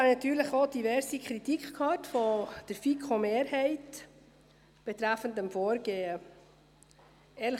Ich habe natürlich auch diverse Kritik vonseiten der FiKo-Mehrheit betreffend das Vorgehen gehört.